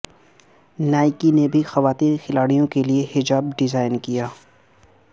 Nike نے بھی خواتین کھلاڑیوں کے لیے حجاب ڈیزائن کیا